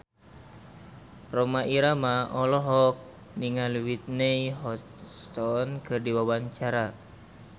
Rhoma Irama olohok ningali Whitney Houston keur diwawancara